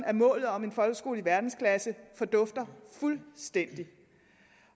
af målet om en folkeskole i verdensklasse fordufter fuldstændig